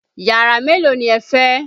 Yàrá mélòó ni ẹ fẹ́?